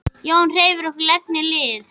Jón hreyfði hvorki legg né lið.